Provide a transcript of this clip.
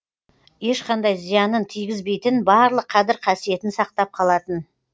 ешқандай зиянын тигізбейтін барлық қадір қасиетін сақтап қалатын